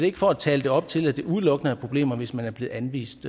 ikke for at tale det op til at det udelukkende problemer hvis man er blevet anvist